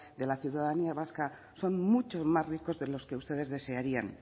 de la ciudadanía vasca son mucho más ricos de los que ustedes desearían